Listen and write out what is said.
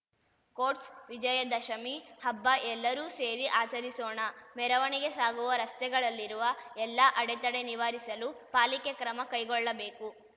court Vijayadashami ಹಬ್ಬ ಎಲ್ಲರೂ ಸೇರಿ ಆಚರಿಸೋಣ ಮೆರವಣಿಗೆ ಸಾಗುವ ರಸ್ತೆಗಳಲ್ಲಿರುವ ಎಲ್ಲಾ ಅಡೆತಡೆ ನಿವಾರಿಸಲು ಪಾಲಿಕೆ ಕ್ರಮ ಕೈಗೊಳ್ಳಬೇಕು